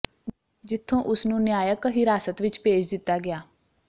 ਜਿੱਥੋਂ ਉਸ ਨੂੰ ਨਿਆਂਇਕ ਹਿਰਾਸਤ ਵਿੱਚ ਭੇਜ ਦਿੱਤਾ ਗਿਆ